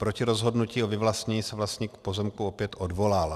Proti rozhodnutí o vyvlastnění se vlastník pozemku opět odvolal.